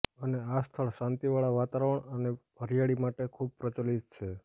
અને આ સ્થળ શાંતિવાળા વાતાવરણ અને હરિયાળી માટે ખૂબ પ્રચલીત છે